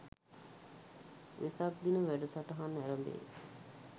වෙසක් දින වැඩසටහන ඇරඹේ